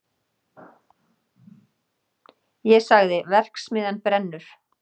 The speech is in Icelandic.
Ég sagði: verksmiðjan brennur!